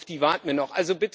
Auf die warten wir noch.